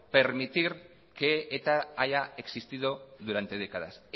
permitir que eta haya existido durante décadas